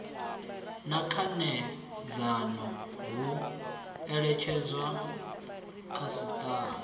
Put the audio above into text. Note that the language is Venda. na khanedzano hu eletshedzwa khasiṱama